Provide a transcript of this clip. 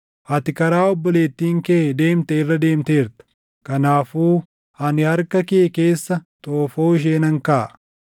Ati karaa obboleettiin kee deemte irra deemteerta; kanaafuu ani harka kee keessa xoofoo ishee nan kaaʼa.